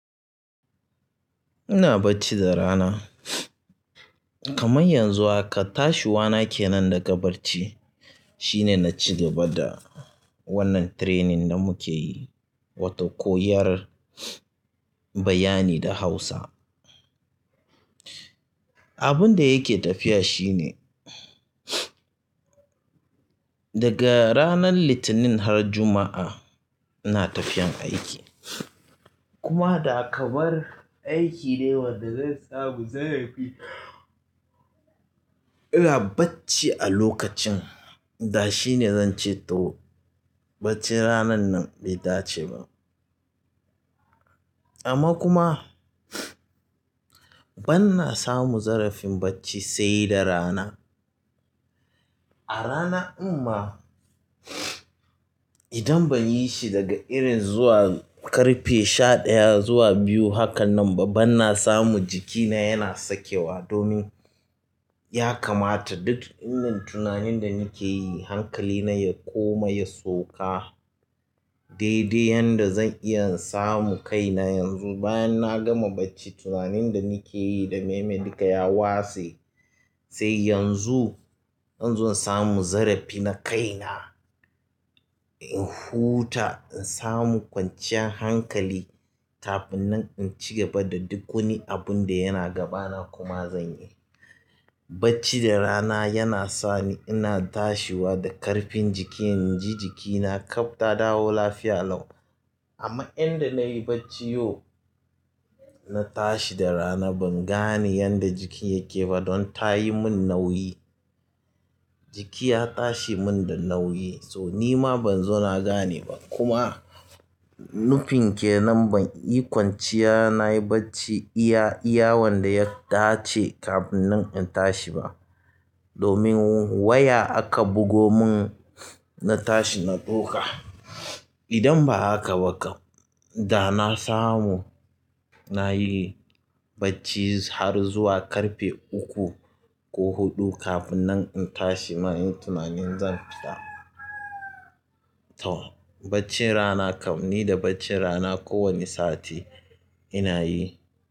Ina bacci da rana. Kaman yanzu haka tashi wana kenan daga bacci shine na ci gaba da wannan training da muke yi, wato ƙoyar bayani da Hausa. Abun da yake tafiya shine daga ranar Litinin har Juma'a ina tafiyan aiki kuma da kamar aiki ne wanda zai samu zarafi ina bacci a lokacin da shine zance toh baccin ranan nan bai dace ba amma kuma ban na samu zarafin bacci sai da rana. A rana ɗin ma idan ban yi shi daga irin zuwa ƙarfe sha ɗaya zuwa biyu hakan nan ba, ban na samu jikina yana sakewa domin ya kamata duk indin tunanin da nake yi hankali na ya koma ya sauka. Daidai yanda zan iya samu kaina yanzu bayan na gama bacci, tunanin da nake yi da meme duka ya watse. Sai yanzu zanzo in samu zarafi na kai na, in huta, in samu kwanciyar hankali kafin nan in ci gaba da duk wani abun da yana gabana kuma zan yi. Bacci da rana yana sani ina tashiwa da ƙarfin jiki, inji jikina ƙabta dawo lafiya lau. Amma inda na yi bacci yau, na tashi da rana ban gane yanda jiki yake ba don ta yi mun nauyi. Jiki ya tashi mun da nauyi so nima ban zo na gane ba. Kuma nufin ke nan ban yi kwanciya na yi bacci iya, iyawan da ya dace kafin nan in tashi ba domin waya aka bugo mun na tashi na ɗauka. Idan ba haka ba kam, da na samu na yi bacci har zuwa ƙarfe uku ko huɗu kafin nan in tashi ma inyi tunanin zan fita. To bacci rana kam ni da bacci rana kowane sati ina yi.